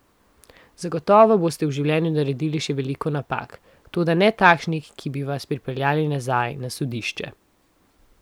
Zagotovo boste v življenju naredili še veliko napak, toda ne takšnih, ki bi vas pripeljale nazaj na sodišče.